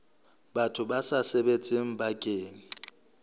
batho ba sa sebetseng bakeng